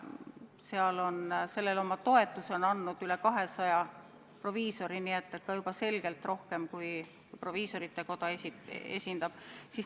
Sellele on oma toetuse andnud üle 200 proviisori, nii et selgelt rohkem inimesi, kui proviisorite kotta kuulub.